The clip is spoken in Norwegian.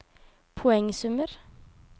poengsummer